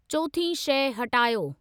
चोथीं शइ हटायो।